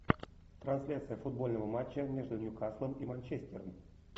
трансляция футбольного матча между ньюкаслом и манчестером